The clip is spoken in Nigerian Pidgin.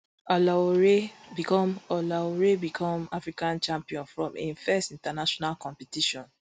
olaore become olaore become african champion from im first international competition